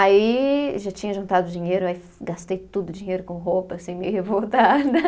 Aí já tinha juntado dinheiro, aí gastei tudo, dinheiro com roupa, assim, meio revoltada.